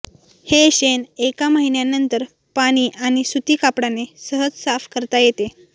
हे शेण एका महिन्यानंतर पाणी आणि सुती कापडाने सहज साफ करता येते